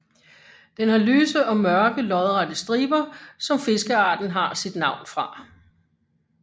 Den har lyse og mørke lodrette striber som fiskearten har sit navn fra